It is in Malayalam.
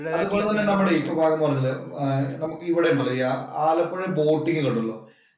അതുപോലെ തന്നെ പറഞ്ഞില്ലേ നമുക്ക് ഇവിടെയാന്നു അറിയോ ആലപ്പുഴ boating ഇല് ഉണ്ടല്ലോ.